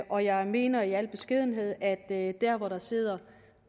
og jeg mener i al beskedenhed at at der hvor der sidder